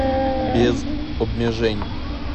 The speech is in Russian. без обмежень